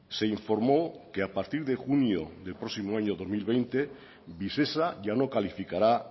se informó que a partir de junio del próximo año dos mil veinte visesa ya no calificará